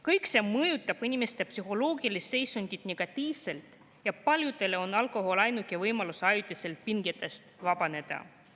… kõik see mõjutab inimeste psühholoogilist seisundit negatiivselt ja paljudele on alkohol ainuke võimalus ajutiselt pingetest vabaneda.